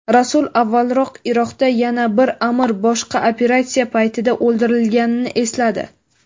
Rasul avvalroq Iroqda yana bir amir boshqa operatsiya paytida o‘ldirilganini esladi.